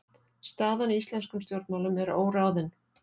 Staðan í íslenskum stjórnmálum er óráðin